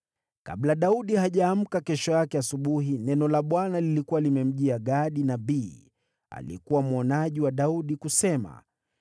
Kabla Daudi hajaamka kesho yake asubuhi, neno la Bwana lilikuwa limemjia Gadi nabii, aliyekuwa mwonaji wa Daudi, kusema: